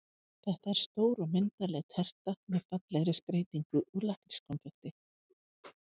Þetta er stór og myndarleg terta með fallegri skreytingu úr lakkrískonfekti.